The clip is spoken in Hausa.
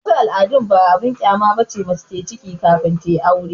wasu al'adun ba abin kyama ba ne mace ta yi ciki kafin aure